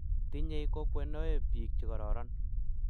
tinyei kokwenoe biik che kororon